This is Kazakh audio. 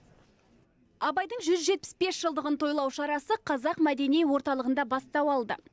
абайдың жүз жетпіс бес жылдығын тойлау шарасы қазақ мәдени орталығында бастау алды